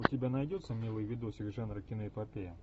у тебя найдется милый видосик жанра киноэпопея